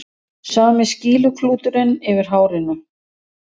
Sami skýluklúturinn yfir hárinu.